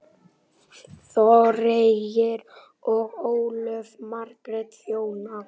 Þorgeir og Ólöf Margrét þjóna.